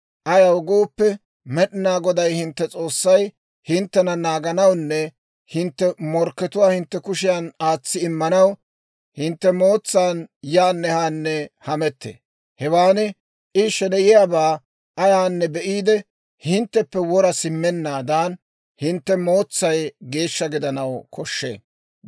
Ayaw gooppe, Med'inaa Goday hintte S'oossay hinttena naaganawunne hintte morkkatuwaa hintte kushiyan aatsi immanaw, hintte heeran yaanne haanne hamettee. Hewaan I sheneyiyaabaa ayaanne be'iide, hintteppe wora simmennaadan, hintte heeray geeshsha gidanaw koshshee.